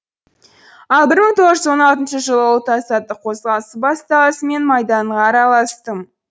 ал бір мың тоғыз жүз он алтыншы жылы ұлт азаттық қозғалысы басталысымен майданға араластым